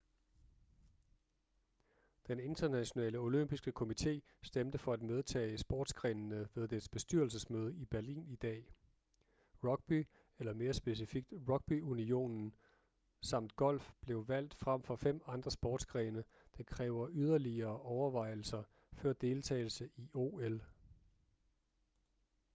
den internationale olympiske komité stemte for at medtage sportsgrenene ved dets bestyrelsesmøde i berlin i dag rugby eller mere specifikt rugbyunionen samt golf blev valgt frem for fem andre sportsgrene der kræver yderligere overvejelser før deltagelse i ol